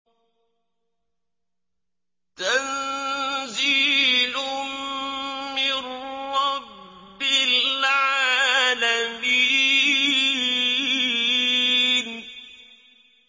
تَنزِيلٌ مِّن رَّبِّ الْعَالَمِينَ